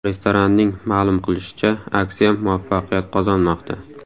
Restoranning ma’lum qilishicha, aksiya muvaffaqiyat qozonmoqda.